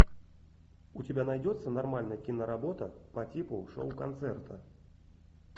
у тебя найдется нормальная киноработа по типу шоу концерта